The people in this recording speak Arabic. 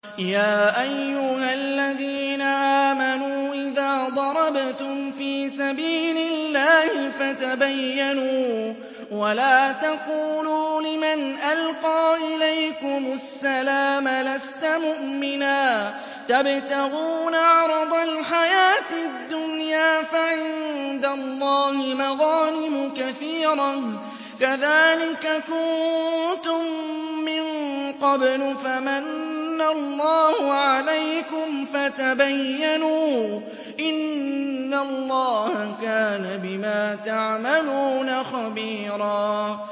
يَا أَيُّهَا الَّذِينَ آمَنُوا إِذَا ضَرَبْتُمْ فِي سَبِيلِ اللَّهِ فَتَبَيَّنُوا وَلَا تَقُولُوا لِمَنْ أَلْقَىٰ إِلَيْكُمُ السَّلَامَ لَسْتَ مُؤْمِنًا تَبْتَغُونَ عَرَضَ الْحَيَاةِ الدُّنْيَا فَعِندَ اللَّهِ مَغَانِمُ كَثِيرَةٌ ۚ كَذَٰلِكَ كُنتُم مِّن قَبْلُ فَمَنَّ اللَّهُ عَلَيْكُمْ فَتَبَيَّنُوا ۚ إِنَّ اللَّهَ كَانَ بِمَا تَعْمَلُونَ خَبِيرًا